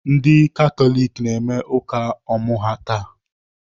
Ndị Katọlik na-eme ụka ọmụ ha taa.